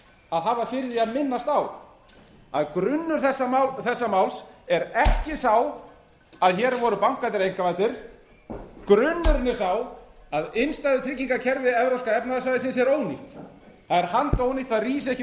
að hafa fyrir því að minnast á að grunnur þessa máls er ekki sá að hér voru bankarnir einkavæddir grunnurinn er sá að innstæðutryggingakerfi evrópska efnahagssvæðisins er ónýtt það er handónýtt það rís ekki